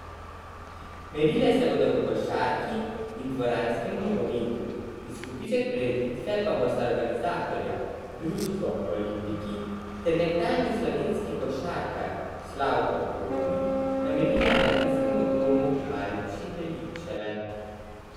Merile se bodo v košarki in dvoranskem nogometu, izkupiček prireditve pa bosta organizatorja, društvo Olimpiki ter nekdanji slovenski košarkar Slavko Kotnik, namenila mladinskemu domu Malči Beličeve.